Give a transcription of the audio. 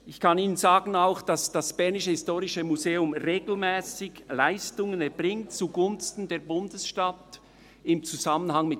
Ich kann Ihnen auch sagen, dass das BHM im Zusammenhang mit Staatsbesuchen regelmässig Leistungen zugunsten der Bundesstadt erbringt.